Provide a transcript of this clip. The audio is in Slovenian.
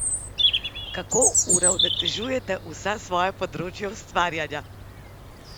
Kako uravnotežujete vsa svoja področja ustvarjanja?